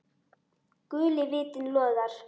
Guli vitinn logar.